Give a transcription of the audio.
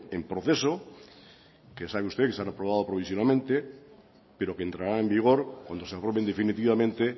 en proceso que sabe usted que se han aprobado provisionalmente pero que entraran en vigor cuando se aprueben definitivamente